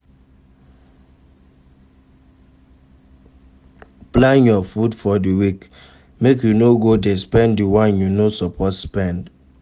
Plan your food for di week make you no go de spend di one you no suppose spend